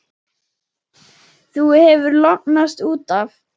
Þú hefur lognast út af!